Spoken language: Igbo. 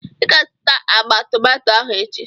I ga-azụta agba tomato ahụ echi.